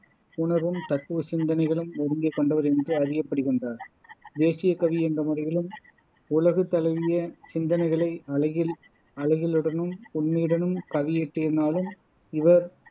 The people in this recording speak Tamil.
உணர்வும் தத்துவ சிந்தனைகளும் ஒருங்கே கொண்டவர் என்று அறியப்படுகின்றார் தேசியக் கவி என்ற முறையிலும் உலகு தழுவிய சிந்தனைகளை அழகில் அழகியலுடனும் உண்மையுடனும் கவி இயற்றிதினாலும் இவர்